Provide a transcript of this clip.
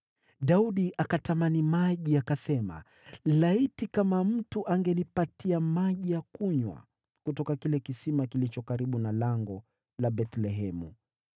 Daudi akatamani maji, akasema, “Laiti mtu angenipatia maji ya kunywa kutoka kisima kilicho karibu na lango la Bethlehemu!”